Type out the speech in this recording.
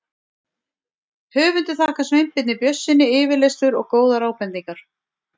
Höfundur þakkar Sveinbirni Björnssyni yfirlestur og góðar ábendingar.